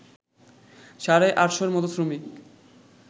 সাড়ে আটশোর মতো শ্রমিক